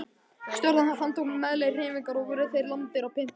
Stjórn hans handtók meðlimi hreyfingarinnar og voru þeir lamdir og pyntaðir.